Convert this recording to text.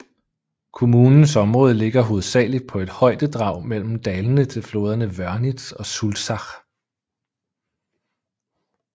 Kommunens område ligger hovedsageligt på et højdedrag mellem dalene til floderne Wörnitz og Sulzach